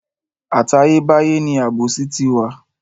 Àtayé báyé ni àbòsí ti wà.